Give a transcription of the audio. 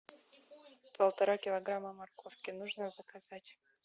полтора килограмма морковки нужно заказать